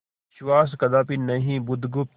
विश्वास कदापि नहीं बुधगुप्त